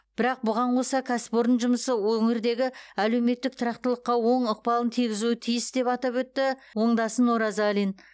бірақ бұған қоса кәсіпорын жұмысы өңірдегі әлеуметтік тұрақтылыққа оң ықпалын тигізуі тиіс деп атап өтті оңдасын оразалин